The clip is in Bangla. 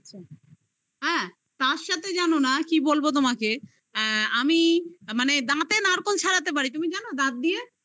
হ্যাঁ তার সাথে জানো না কি বলবো তোমাকে আমি মানে দাঁতে নারকোল ছাড়াতে পারি তুমি জানো দাঁত দিয়ে